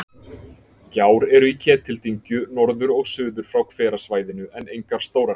Gjár eru í Ketildyngju, norður og suður frá hverasvæðinu, en engar stórar.